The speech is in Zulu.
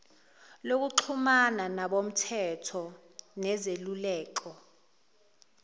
lokuxhumana nabomthetho nezeluleko